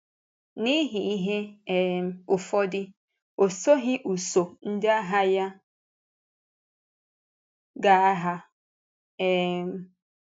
N’ihi ihe um ụfọdụ, ọ soghị usùù ndị agha ya gaa agha. um